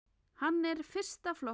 Hann er fyrsta flokks.